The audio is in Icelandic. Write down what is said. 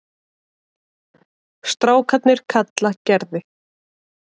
Strákarnir kalla Gerði